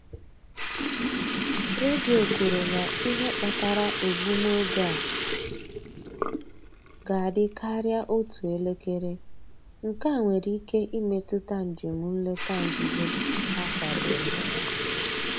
Redio kwuru na ihe kpatara egbumoge a ga-adị karịa otú elekere: nkea nwere ike imetụta njem nleta nzuzo ha kwadoro.